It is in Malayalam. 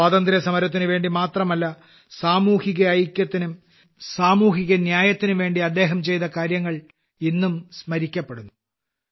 സ്വാതന്ത്ര്യസമരത്തിനുവേണ്ടി മാത്രമല്ല സാമൂഹ്യഐക്യത്തിനും സാമൂഹ്യന്യായത്തിനുംവേണ്ടി അദ്ദേഹം ചെയ്ത കാര്യങ്ങൾ ഇന്നും സ്മരിക്കപ്പെടുന്നു